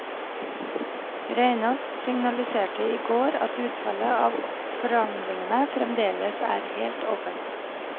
Reinås signaliserte i går at utfallet av forhandlingene fremdeles er helt åpent.